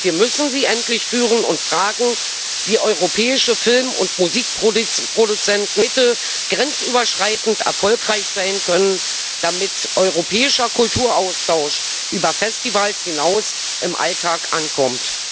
Doch wir müssen sie endlich führen und fragen, wie europäische Film und Musikproduzenten heute grenzüberschreitend erfolgreich sein können, damit europäischer Kulturaustausch über Festivals hinaus im Alltag ankommt.